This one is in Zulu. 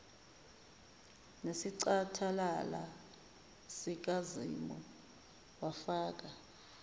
nesicathalala sikazimu wafaka